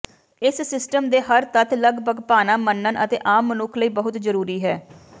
ਇਸ ਸਿਸਟਮ ਦੇ ਹਰ ਤੱਤ ਲਗਭਗ ਭਾਣਾ ਮੰਨਣ ਅਤੇ ਆਮ ਮਨੁੱਖ ਲਈ ਬਹੁਤ ਜ਼ਰੂਰੀ ਹੈ